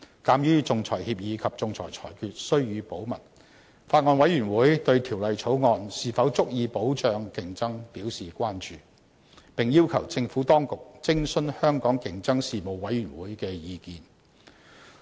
鑒於仲裁協議及仲裁裁決須予以保密，法案委員會對《條例草案》是否足以保障競爭表示關注，並要求政府當局徵詢香港競爭事務委員會的意見。